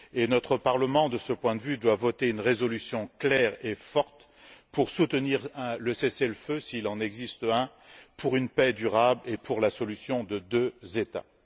Notre Parlement, de ce point de vue, doit voter une résolution claire et forte pour soutenir le cessez le feu s'il en existe un pour une paix durable et pour la solution de deux États.